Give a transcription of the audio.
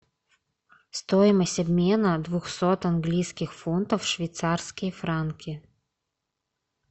стоимость обмена двухсот английских фунтов в швейцарские франки